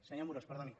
senyor amorós perdoni